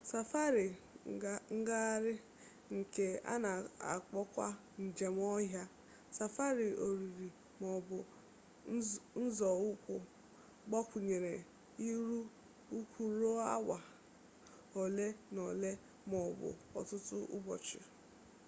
safari ngagharị nke a na-akpọkwa njem ọhịa safari ọrịrị maọbụ nzọụkwụ gbakwunyere ịrị ugwu ruo awa ole na ole maọbụ ọtụtụ ụbọchị